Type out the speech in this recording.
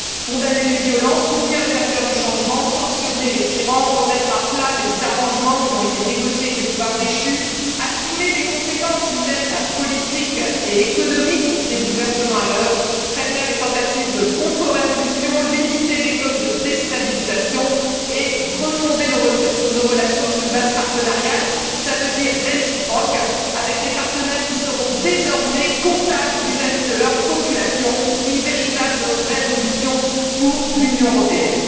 Condamner les violences, soutenir les acteurs du changement, sanctionner les tyrans, remettre à plat les arrangements qui ont été négociés avec les pouvoirs déchus, assumer les conséquences humaines, politiques et économiques des bouleversements à l'œuvre, prévenir les tentatives de contre révolution, limiter les causes de déstabilisation et refonder nos relations sur une base partenariale, c'est à dire réciproque, avec des partenaires qui seront désormais comptables vis à vis de leur population, c'est là une véritable révolution pour l'Union européenne.